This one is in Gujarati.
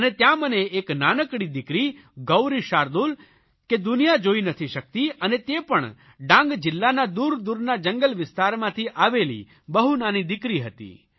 અને ત્યાં મને એક નાનકડી દિકરી ગૌરી શાર્દુલ કે દુનિયા જોઇ નથી શકતી અને તે પણ ડાંગ જિલ્લાના દૂરદૂરના જંગલ વિસ્તારમાંથી આવેલી બહુ નાની દિકરી હતી